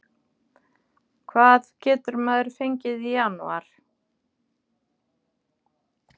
Hvað getur maður fengið í janúar?